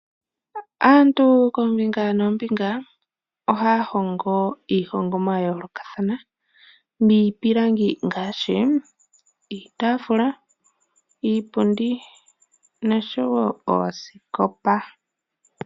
Aantu kombinga noombinga ohaya hongo iihongomwa ya yoolokathana miipilangi ngaashi iitafula ,iipundi noshowo oosikopa.